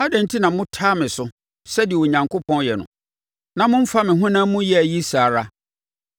Adɛn enti na motaa me so, sɛdeɛ Onyankopɔn yɛ no? Na mommfa me honam mu yea yi saa ara?